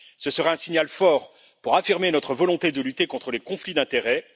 Ce serait un signal fort pour affirmer notre volonté de lutter contre les conflits d'intérêts.